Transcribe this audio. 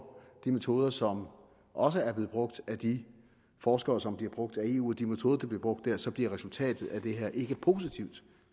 de metoder som også er blevet brugt af de forskere som bliver brugt af eu og de metoder der bliver brugt der så bliver resultatet af det her ikke positivt